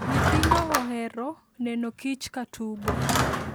Nyithindo ohero neno kich ka tugo.